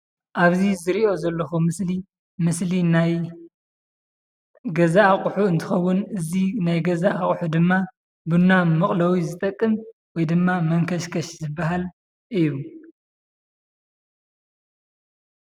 ኣብዚ ዝርኦ ዘለኩ ምስሊ ምስሊ ናይ ገዛ ኣቁሑ እንትኮውን እዚ ናይ ገዛ ኣቁሑ ድማ ቡና መቀለዊ ዝጠቅም ወይድማ መንከሽከሽ ዝባሃል እዩ።